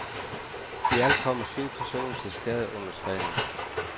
I alt kom syv personer til skade under træning.